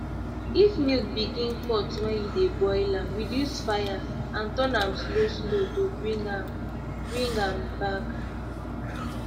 if milk begin cut when you dey boil am reduce fire and turn am slow slow to bring am bring am back